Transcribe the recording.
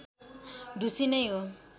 ढुसी नै हो